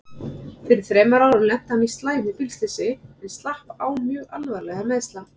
Fyrir þremur árum lenti hann í slæmu bílslysi en slapp án mjög alvarlegra meiðsla.